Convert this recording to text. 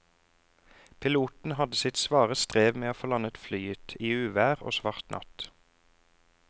Piloten hadde sitt svare strev med å få landet flyet i uvær og svart natt.